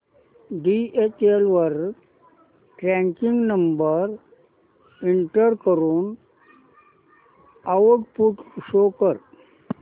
DHL वर tracking number enter करून output show कर